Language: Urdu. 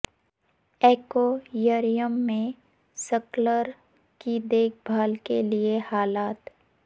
ایکویریم میں سکالر کی دیکھ بھال کے لئے حالات